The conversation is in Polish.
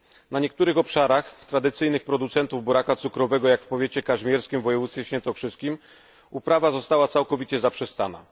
Na niektórych obszarach tradycyjnych producentów buraka cukrowego, jak w powiecie kazimierskim w województwie świętokrzyskim, uprawa została całkowicie zaprzestana.